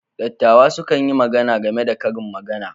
Dattawa sukan yi magana game da Karin Magana.